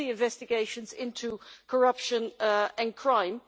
on the investigations into corruption and crime.